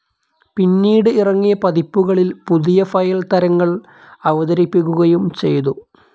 പിന്നീട് ഇറങ്ങിയ പതിപ്പുകളിൽ പുതിയ ഫയൽ തരങ്ങൾ അവതരിപ്പിക്കുകയും ചെയ്തു.